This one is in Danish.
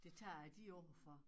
Det tager jeg dit ord for